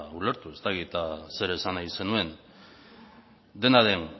ulertu ez dakit zer esan nahi zenuen dena den